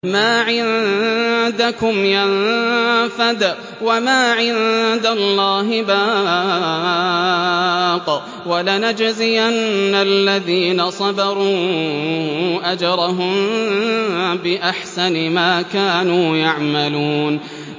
مَا عِندَكُمْ يَنفَدُ ۖ وَمَا عِندَ اللَّهِ بَاقٍ ۗ وَلَنَجْزِيَنَّ الَّذِينَ صَبَرُوا أَجْرَهُم بِأَحْسَنِ مَا كَانُوا يَعْمَلُونَ